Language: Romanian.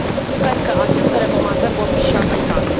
Sper că aceste recomandări vor fi și aplicate.